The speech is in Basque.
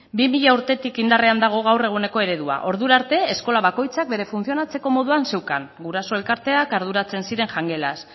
bi mila urtetik indarrean dago gaur egungo eredua ordura art eskola bakoitzak bere funtzionatzeko moduan zeukan guraso elkarteak arduratzen ziren jangelaz